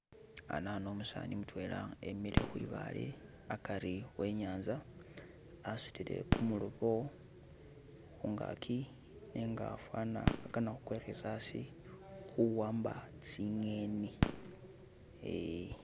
Anano umusani mutwela emiile khwibaale akari we inyanza asutile kumulobo khungaki nenga fwana akana khu kwikhisa asi khuwamba tsi'ngeni eh.